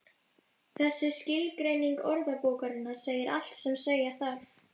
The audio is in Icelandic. Þessi skilgreining orðabókarinnar segir allt sem segja þarf.